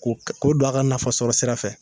K' o don a ka nafa sɔrɔ sira fɛ